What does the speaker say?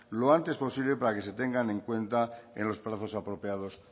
lo antes posible para que se tengan en cuenta en los plazos apropiados